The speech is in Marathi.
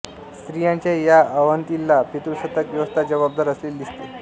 स्त्रियांच्या या अवनतीला पितृसत्ताक व्यवस्था जबाबदार असलेली दिसते